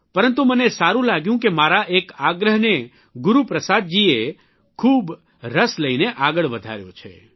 પરંતુ મને સારૂં લાગ્યું કે મારા એક આગ્રાહને ગુરૂપ્રસાદજીએ બહુ રસ લઇને આગળ વધાર્યો છે